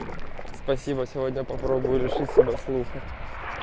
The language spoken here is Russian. спасибо сегодня попробую решить себя слуха